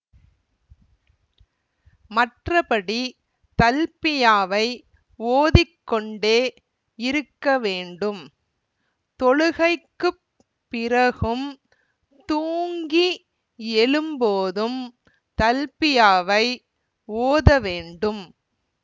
மற்றபடி தல்பியாவை ஓதிக்கொண்டே இருக்க வேண்டும் தொழுகைக்குப் பிறகும் தூங்கி எழும்போதும் தல்பியாவை ஓதவேண்டும்